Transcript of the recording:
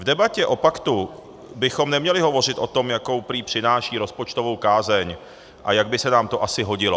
V debatě o paktu bychom neměli hovořit o tom, jakou prý přináší rozpočtovou kázeň a jak by se nám to asi hodilo.